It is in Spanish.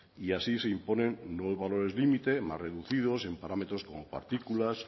y así se imponen nuevos valores límites más reducidos en parámetros como partículas